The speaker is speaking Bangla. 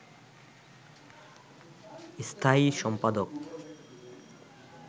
স্থায়ী সম্পাদক